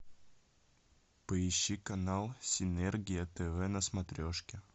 поищи канал синергия тв на смотрешке